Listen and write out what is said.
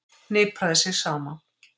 Hnipraði sig saman.